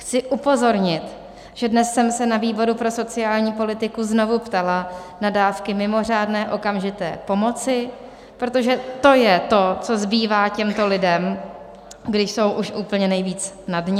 Chci upozornit, že dnes jsem se na výboru pro sociální politiku znovu ptala na dávky mimořádné okamžité pomoci, protože to je to, co zbývá těmto lidem, když jsou už úplně nejvíc na dně.